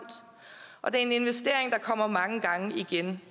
og det er en investering der kommer mange gange igen